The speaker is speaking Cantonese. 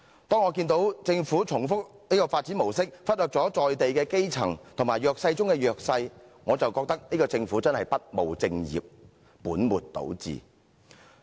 當我看到政府重複這種發展模式，忽略了在地的基層和弱勢中的弱勢，我便認為這個政府真的不務正業，本末倒置。